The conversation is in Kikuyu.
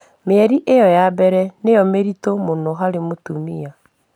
Mĩeri ĩyo ya bere nĩyo miritu muno hari mũtumia